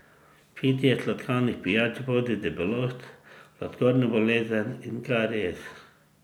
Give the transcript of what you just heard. Pitje sladkanih pijač vodi v debelost, sladkorno bolezen in karies.